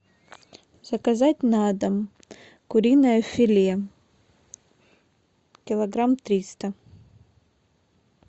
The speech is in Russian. заказать на дом куриное филе килограмм триста